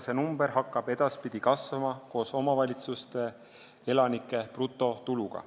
See number hakkab edaspidi kasvama koos omavalitsuste elanike brutotuluga.